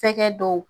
Fɛgɛ dɔw